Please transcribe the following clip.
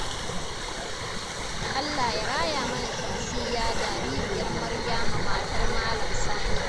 Allah ya raya mana Shamsiyya jaririyar Maryama matar Malam Sani.